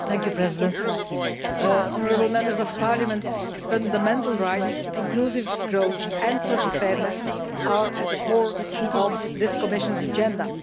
Mr President, honourable Members of Parliament, fundamental rights, inclusive growth and social fairness are at the core of this Commission's agenda.